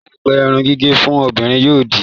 Láìpẹ́, irun gígẹ̀ fún obìnrin yóò di